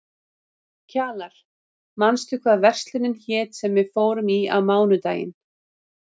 Kjalar, manstu hvað verslunin hét sem við fórum í á mánudaginn?